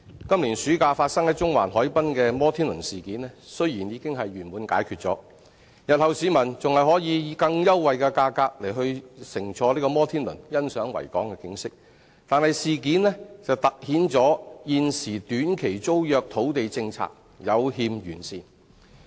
今年暑假發生於中環海濱的摩天輪事件，雖然已經圓滿解決，日後市民還可以以更優惠的價格乘坐摩天輪欣賞維港的景色，但事件凸顯了現時短期租約土地政策有欠完善。